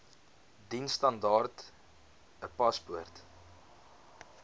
diensstandaard n paspoort